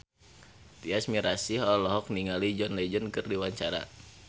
Tyas Mirasih olohok ningali John Legend keur diwawancara